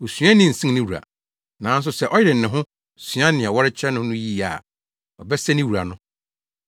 Osuani nsen ne wura. Nanso sɛ ɔyere ne ho sua nea wɔrekyerɛ no no yiye a ɔbɛsɛ ne wura no.